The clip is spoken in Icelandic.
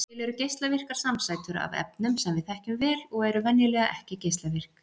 Til eru geislavirkar samsætur af efnum sem við þekkjum vel og eru venjulega ekki geislavirk.